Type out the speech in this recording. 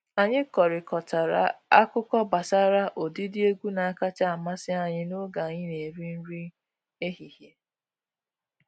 Anyị kọrịkọtara akụkọ gbasara ụdịdị egwu na-akacha amasị anyị n’oge anyï na-eri nri ehihie.